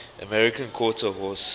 american quarter horse